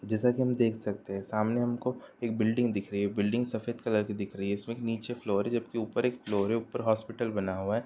जैसा कि हम आप देख सकते है सामने हमको एक बिल्डिंग दिख रही है| बिल्डिंग सफेद कलर की दिख रही है| इसके नीचे एक फ्लोर है जबकि ऊपर एक फ्लोर है| ऊपर हॉस्पिटल बना हुआ है।